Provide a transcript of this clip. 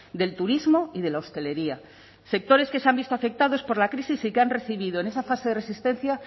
del turismo y de la hostelería sectores que se han visto afectados por la crisis y que han recibido en esa fase de resistencia